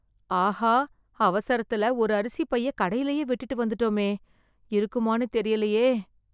ஆஹா அவசரத்துல ஒரு அரிசி பைய கடையிலையே விட்டுட்டு வந்துட்டமே. இருக்குமான்னு தெரியலையே.